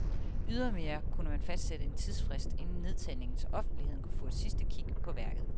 Ydermere kunne man fastsætte en tidsfrist inden nedtagningen, så offentligheden kunne få et sidste kig på værket.